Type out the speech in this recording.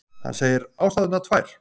Hann segir ástæðurnar tvær